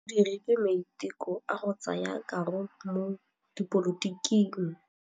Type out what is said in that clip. O dirile maitekô a go tsaya karolo mo dipolotiking.